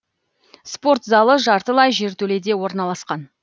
спорт залы жартылай жертөледе орналасқан